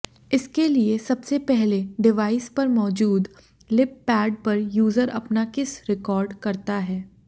इसके लिए सबसे पहले डिवाइस पर मौजूद लिपपैड पर यूजर अपना किस रिकाॅर्ड करता है